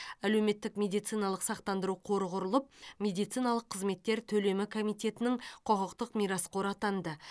әлеуметтік медициналық сақтандыру қоры құрылып медициналық қызметтер төлемі комитетінің құқықтық мирасқоры атанды